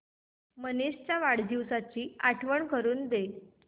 मनीष च्या वाढदिवसाची आठवण करून दे